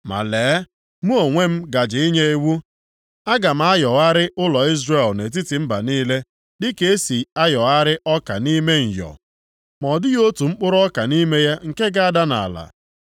“Ma lee, mụ onwe m gaje inye iwu, aga m ayọgharị ụlọ Izrel nʼetiti mba niile dịka e si ayọgharị ọka nʼime nyọ, ma ọ dịghị otu mkpụrụ ọka nʼime ya nke ga-ada nʼala.